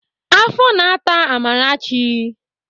Afọ na-ata Amarachi.